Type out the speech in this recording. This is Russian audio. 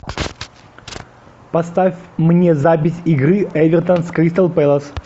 поставь мне запись игры эвертон с кристал пэлас